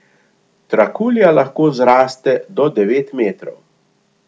Trakulja lahko zraste do devet metrov!